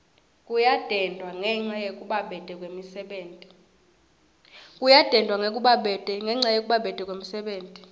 kuyadendwa ngenca yekubabete kwemisebenti